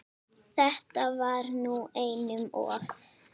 Þetta var nú einum of!